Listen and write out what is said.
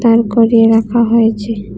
করিয়ে রাখা হয়েছে।